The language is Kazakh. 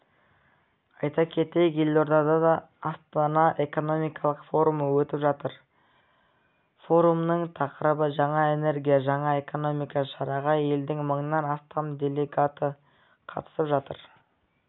айта кетейік елордада астана экономикалық форумы өтіп жатыр форумның тақырыбы жаңа энергия жаңа экономика шараға елдің мыңнан астам делегаты қатысып жатыр